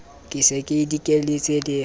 ke se ke dikelletse le